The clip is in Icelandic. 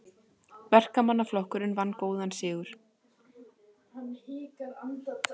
Verkamannaflokkurinn vann góðan sigur